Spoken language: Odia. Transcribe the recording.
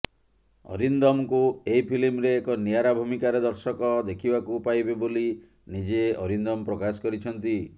ଅରିନ୍ଦମଙ୍କୁ ଏହି ଫିଲ୍ମରେ ଏକ ନିଆରା ଭୂମିକାରେ ଦର୍ଶକ ଦେଖିବାକୁ ପାଇବେ ବୋଲି ନିଜେ ଅରିନ୍ଦମ ପ୍ରକାଶ କରିଛନ୍ତି